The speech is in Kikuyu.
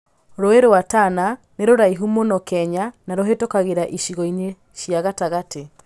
Rũũĩ rwa Tana nĩ rũraihu mũno Kenya na rũhĩtũkagĩra icigo-inĩ cia gatagatĩ.